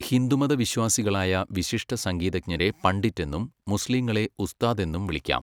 ഹിന്ദുമത വിശ്വാസികളായ വിശിഷ്ട സംഗീതജ്ഞരെ പണ്ഡിറ്റ് എന്നും മുസ്ലീങ്ങളെ ഉസ്താദ് എന്നും വിളിക്കാം.